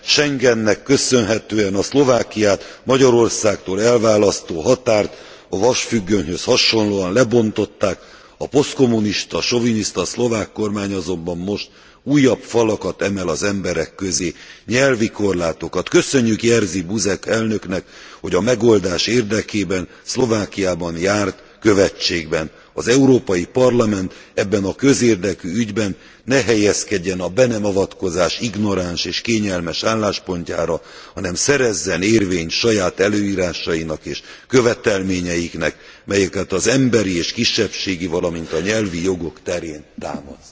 Schengennek köszönhetően a Szlovákiát Magyarországtól elválasztó határt a vasfüggönyhöz hasonlóan lebontották, a posztkommunista soviniszta szlovák kormány azonban most újabb falakat emel az emberek közé, nyelvi korlátokat. Köszönjük Jerzy Buzek elnöknek, hogy a megoldás érdekében Szlovákiában járt követségben. Az Európai Parlament ebben a közérdekű ügyben ne helyezkedjen a be nem avatkozás ignoráns és kényelmes álláspontjára, hanem szerezzen érvényt saját előírásainak és követelményeiknek, melyeket az emberi és kisebbségi, valamint a nyelvi jogok terén támaszt!